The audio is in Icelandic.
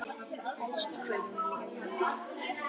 Elsku amma Magga mín.